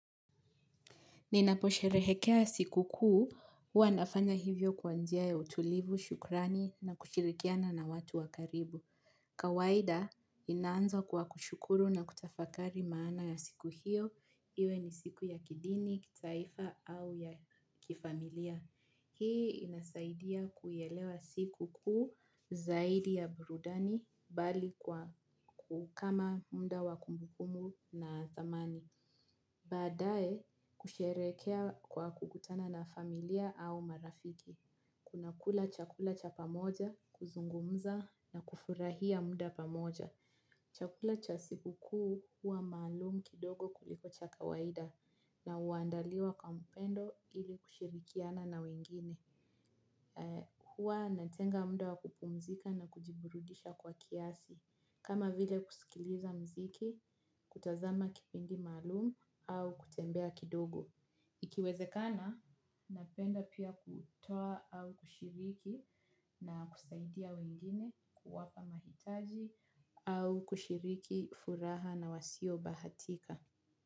Ninapo sherehekea siku kuu, huwa nafanya hivyo kwa njia ya utulivu, shukrani na kushirikiana na watu wa karibu. Kawaida ninaanza kwa kushukuru na kutafakari maana ya siku hiyo iwe ni siku ya kidini kitaifa au kifamilia. Hii inasaidia kuielewa siku kuu zaidi ya burudani bali kwa kukama muda wa kumbukumu na thamani. Badae kusherekea kwa kukutana na familia au marafiki. Tunakula chakula cha pamoja kuzungumza na kufurahia muda pamoja. Chakula cha siku kuu huwa maalum kidogo kuliko cha kawaida na huandaliwa kwa upendo ili kushirikiana na wengine. Huwa natenga muda wa kupumzika na kujiburudisha kwa kiasi. Kama vile kusikiliza muziki kutazama kipindi maalum au kutembea kidogo ikiwezekana, napenda pia kutoa au kushiriki na kusaidia wengine kuwapa mahitaji au kushiriki furaha nawasio bahatika.